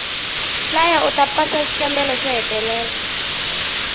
hlaya uta pasa xikambelo xo hetelela